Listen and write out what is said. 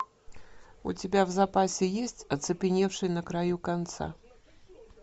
у тебя в запасе есть оцепеневший на краю конца